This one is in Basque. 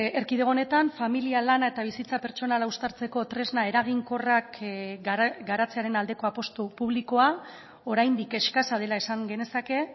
erkidego honetan familia lana eta bizitza pertsonala uztartzeko tresna eraginkorrak garatzearen aldeko apustu publikoa oraindik eskasa dela esan genezake